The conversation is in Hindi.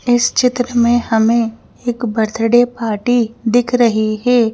इस चित्र में हमें एक बर्थडे पार्टी दिख रही है।